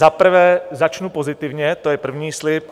Za prvé začnu pozitivně, to je první slib.